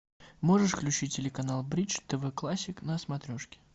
можешь включить телеканал бридж тв классик на смотрешке